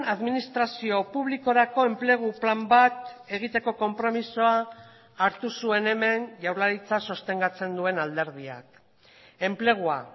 administrazio publikorako enplegu plan bat egiteko konpromisoa hartu zuen hemen jaurlaritza sostengatzen duen alderdiak enplegua